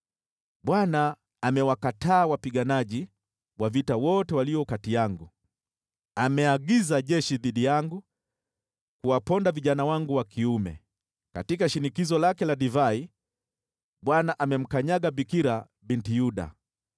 “Bwana amewakataa wapiganaji wa vita wote walio kati yangu, ameagiza jeshi dhidi yangu kuwaponda vijana wangu wa kiume. Katika shinikizo lake la divai Bwana amemkanyaga Bikira Binti Yuda.